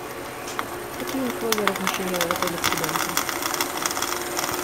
какие условия размещения в отеле с ребенком